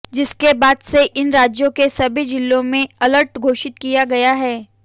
जिसके बाद से इन राज्यों के सभी जिलों में अलर्ट घोषित किया गया है